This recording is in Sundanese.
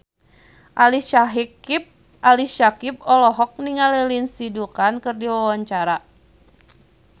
Ali Syakieb olohok ningali Lindsay Ducan keur diwawancara